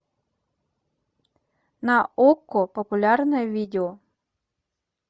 на окко популярное видео